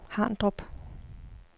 Harndrup